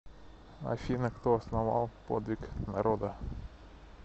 афина кто основал подвиг народа